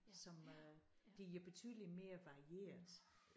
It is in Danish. Som øh de er betydelig mere varieret